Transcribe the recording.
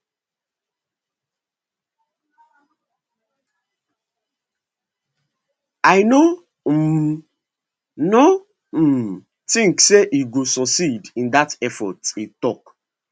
i no um no um tink say e go succeed in dat effort e tok